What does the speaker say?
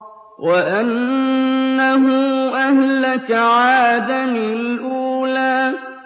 وَأَنَّهُ أَهْلَكَ عَادًا الْأُولَىٰ